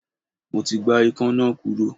Mo ti gbá Ikan náà kúrò.